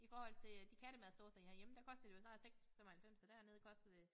I forhold til øh de kattemadsdåser herhjemme der koster de jo snart 6 95 og dernede koster det